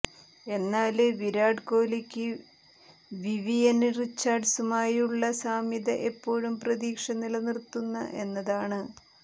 എന്നാല് വിരാട് കോലിക്ക് വിവിയന് റിച്ചാര്ഡ്സുമായുള്ള സാമ്യത എപ്പോഴും പ്രതീക്ഷ നിലനിര്ത്തുന്ന എന്നതാണ്